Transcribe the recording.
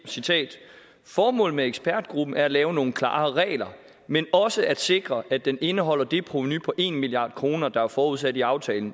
citerer formålet med ekspertgruppen er at lave nogle klarere regler men også at sikre at den indeholder det provenu på en milliard kroner der er forudsat i aftalen